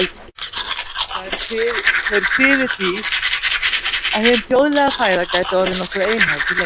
Þeir kviðu því, að hin þjóðlega fæða gæti orðið nokkuð einhæf til lengdar.